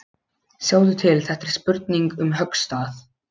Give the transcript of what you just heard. Sjáðu til, þetta er spurning um höggstað.